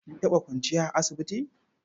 Kin taɓa kwanciya a asibiti?